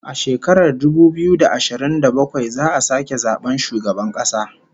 A shekarar dubu biyu da ashirin da bakwai za'a sake zaban shugaban kasa